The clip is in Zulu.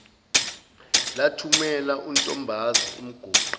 lathumela untombazi umqoqi